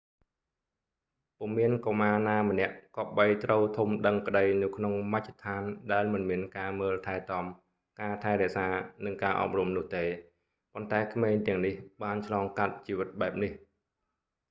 ពុំមានកុមារណាម្នាក់គប្បីត្រូវធំដឹងក្ដីនៅក្នុងមជ្ឈដ្ឋានដែលមិនមានការមើលថែទាំ ការថែរក្សា និងការអប់រំនោះទេ ប៉ុន្តែក្មេងទាំងនេះបានឆ្លងកាត់ជីវិតបែបនេះ